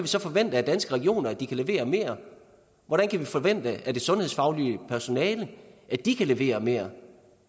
så forvente at danske regioner kan levere mere hvordan kan vi forvente af det sundhedsfaglige personale at de kan levere mere